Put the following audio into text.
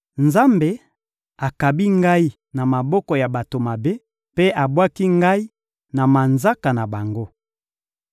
Nzambe akabi ngai na maboko ya bato mabe mpe abwaki ngai na manzaka na bango.